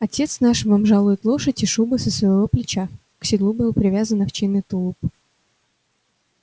отец наш вам жалует лошадь и шубу с своего плеча к седлу был привязан овчинный тулуп